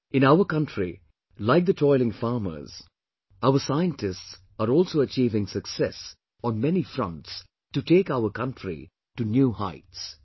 In our country, like the toiling farmers, our scientists are also achieving success on many fronts to take our country to new heights